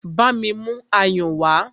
Bámi mú ayùn wá!